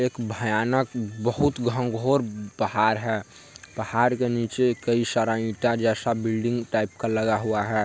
एक भयानक बहुत घनघोर पहाड़ है| पहाड़ के नीचे कई सारा ईटा जैसा बिल्डिंग टाइप का लगा हुआ है।